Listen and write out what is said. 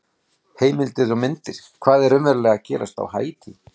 Heimildir og myndir: Hvað er raunverulega að gerast á Haítí?